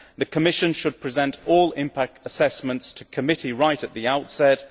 the Commission should present all impact assessments to the committee right at the outset